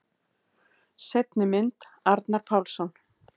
Seinni mynd: Arnar Pálsson.